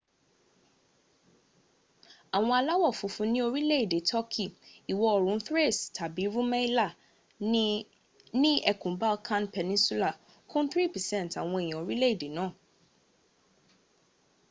awon alawofunfun ni orile ede turkey iwo oorun thrace tabi rumelia ni ekun balkan peninsula kun 3% awon eeyan orile ede naa